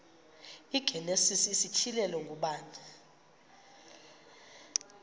igenesis isityhilelo ngubani